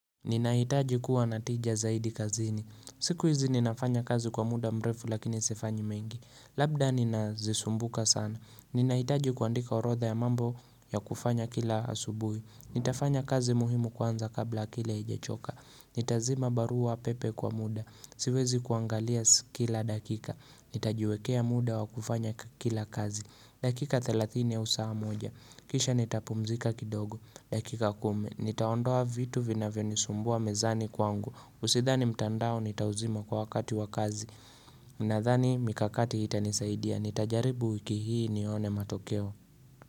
Ninahitaji kuwa natija zaidi kazini. Siku hizi ninafanya kazi kwa muda mrefu lakini sifanyi mengi. Labda ninazisumbuka sana. Ninahitaji kuandika orotha ya mambo ya kufanya kila asubui. Nitafanya kazi muhimu kwanza kabla akili haijechoka Nitazima barua pepe kwa muda Siwezi kuangalia si kila dakika Nitajuekea muda wa kufanya kakila kazi dakika 30 au saa moja Kisha nitapumzika kidogo dakika kumi Nitaondoa vitu vinavyonisumbua mezani kwangu Usithani mtandao nitauzima kwa wakati wa kazi ninadhani mikakati hii itanisaidia Nitajaribu wiki hii nione matokeo.